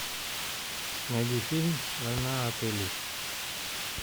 найди фильм война отелей